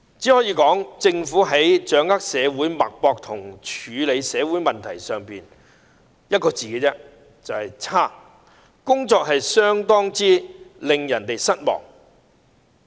政府在掌握社會脈搏或處理社會問題上，我只能說一個字："差"，工作相當令人失望。